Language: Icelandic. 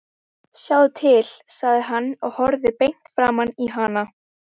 Sjáðu til, sagði hann og horfði beint framan í hana.